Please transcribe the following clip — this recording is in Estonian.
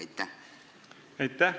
Aitäh!